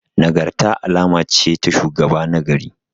Nagarta alama ce ta shugaba nagari.